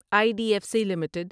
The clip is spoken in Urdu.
I D F C limited